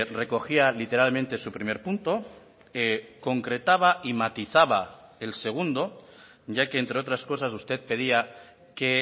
recogía literalmente su primer punto concretaba y matizaba el segundo ya que entre otras cosas usted pedía que